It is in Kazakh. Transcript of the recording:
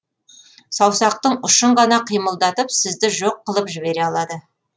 саусақтың ұшын ғана қимылдатып сізді жоқ қылып жібере алады